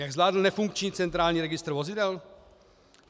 Jak zvládl nefunkční centrální registr vozidel?